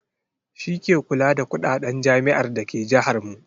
Shi ke kula da kuɗaɗen jami'ar da ke jahar mu.